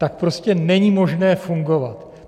Tak prostě není možné fungovat!